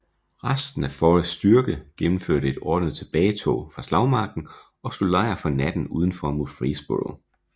Resten af Forrests styrke gennemførte et ordnet tilbagetog fra slagmarken og slog lejr for natten udenfor Murfreesboro